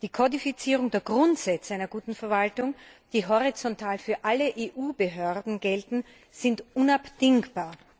Die Kodifizierung der Grundsätze einer guten Verwaltung, die horizontal für alle EU Behörden gelten, ist unabdingbar.